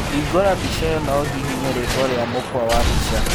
Hingũra mbica ĩyo na ũhihinye rĩĩtwa rĩa mũkwa wa mbica